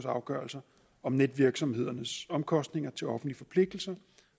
afgørelser om netvirksomhedernes omkostninger til offentlige forpligtelser